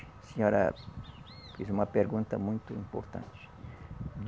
A senhora fez uma pergunta muito importante.